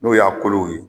N'o y'a kolo ye